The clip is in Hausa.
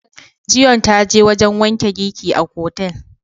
Zion ta je wajen wanke giki a otel.